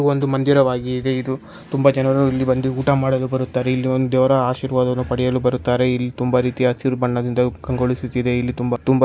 ಒಂದು ಮಂದಿರವಾಗಿದೆ ಇದು ತುಂಬ ಜನರು ಇಲ್ಲಿ ಬಂದು ಊಟ ಮಾಡಲು ಬರುತ್ತಾರೆ ಇಲ್ಲಿ ಒಂದು ದೇವರ ಆಶೀರ್ವಾದವನ್ನು ಪಡೆಯಲು ಬರುತ್ತಾರೆ ಇಲ್ಲಿ ತುಂಬ ರೀತಿಯ ಹಸಿರು ಬಣ್ಣದಿಂದ ಕಂಗೊಳುಸಿತಿದೆ ಇಲ್ಲಿ ತುಂಬ ತುಂಬ --